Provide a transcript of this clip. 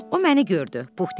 O məni gördü,